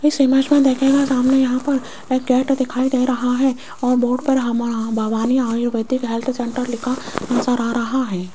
इस इमेज में देखिएगा सामने यहां पर एक गेट दिखाई दे रहा है और बोर्ड पर हमारा भवानी आयुर्वैदिक हेल्थ सेंटर लिखा नजर आ रहा है।